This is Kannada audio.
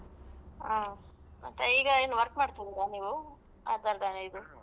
ಹಾ ಮತ್ತೆ ಈಗ ಏನ್ work ಮಾಡ್ತಾ ಇದ್ದೀರಾ ನೀವು .